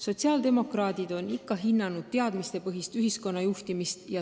Sotsiaaldemokraadid on ikka hinnanud teadmistepõhist ühiskonna juhtimist.